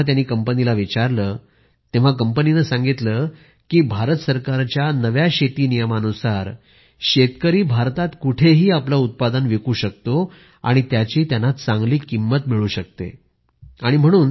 जेव्हा त्यांनी कंपनीला विचारले तेव्हा कंपनीने सांगितले की भारत सरकारच्या नव्या शेती नियमानुसार शेतकरी भारतात कुठेही आपले उत्पादन विकू शकतो आणि त्याची त्यांना चांगली किंमत मिळते आहे